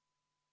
Aitäh!